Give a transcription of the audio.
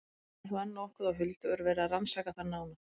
Þetta er þó enn nokkuð á huldu og er verið að rannsaka það nánar.